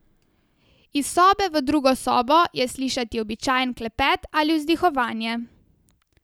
Iz sobe v drugo sobo je slišati običajen klepet ali vzdihovanje.